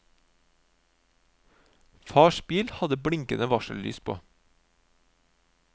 Fars bil hadde blinkende varsellys på.